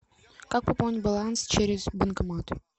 как пополнить баланс через банкомат